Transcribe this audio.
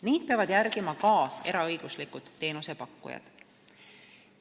Neid peavad järgima ka eraõiguslikud teenusepakkujad.